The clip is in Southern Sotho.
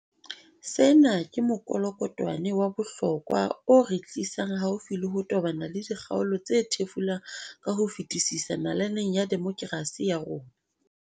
Sena ke mokolokotwane wa bohlokwa o re tlisang haufi le ho tobana le dikgaolo tse thefulang ka ho fetisisa nalaneng ya demokerasi ya rona.